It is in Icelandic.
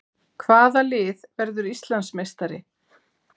Hvaða lið verður Íslandsmeistari?